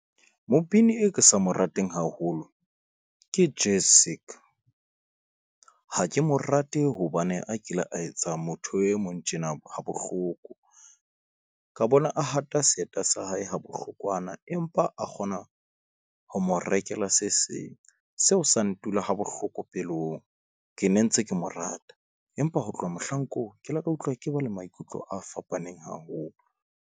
Mobini e ke sa mo rateng haholo ke Jessic, ha ke mo rate hobane a kile a etsa motho e mong tjena ha bohloko ka bona, a hata seeta sa hae ha bohlokwana, empa a kgona ho mo rekela se seng seo sa ntula ha bohloko pelong. Ke ne ntse ke mo rata, empa ho tloha mohlankong, ke ile ka utlwa ke ba le maikutlo a fapaneng haholo.